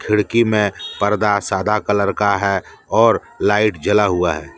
खिड़की में पर्दा सादा कलर का है और लाइट जला हुआ है।